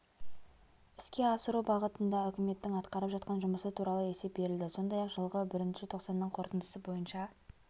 іске асыру бағытындаүкіметтің атқарып жатқан жұмысы туралы есеп берілді сондай-ақ жылғы бірінші тоқсанның қорытындысы бойынша